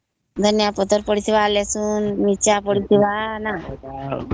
ଧନିଆ ପତ୍ର ପଡିଥିବା ରସୁଣ ଆଉ ମରିଚ ପଡିଥିବା